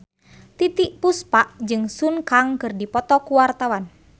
Titiek Puspa jeung Sun Kang keur dipoto ku wartawan